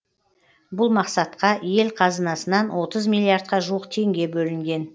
бұл мақсатқа ел қазынасынан отыз миллиардқа жуық теңге бөлінген